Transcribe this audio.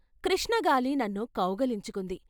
కృష్ణగాలి నన్ను కౌగలించుకుంది.